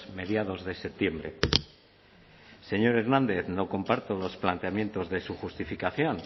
mediados de septiembre señor hernández no comparto los planteamientos de su justificación